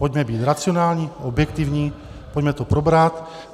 Pojďme být racionální, objektivní, pojďme to probrat.